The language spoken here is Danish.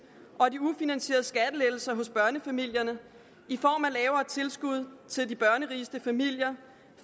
og de ufinansierede skattelettelser hos børnefamilierne i form af lavere tilskud til de børnerigeste familier